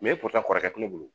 epora kɔrɔkɛ tɛ ne bolo